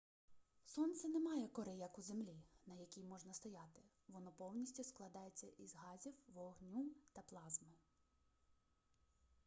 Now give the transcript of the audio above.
сонце не має кори як у землі на якій можна стояти воно повністю складається із газів вогню та плазми